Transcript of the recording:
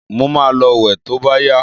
Mo ma lọ wẹ̀ to bá yá.